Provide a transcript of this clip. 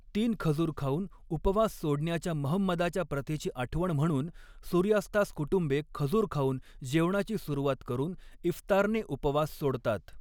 तीन खजूर खाऊन उपवास सोडण्याच्या महंमदाच्या प्रथेची आठवण म्हणून सूर्यास्तास कुटुंबे, खजूर खाऊन जेवणाची सुरुवात करून इफ्तारने उपवास सोडतात.